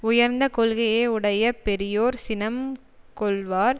உயர்ந்த கொள்கையை உடைய பெரியோர் சினம் கொள்வார்